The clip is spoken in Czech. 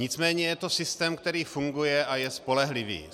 Nicméně je to systém, který funguje a je spolehlivý.